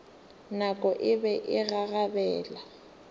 nako e be e gagabela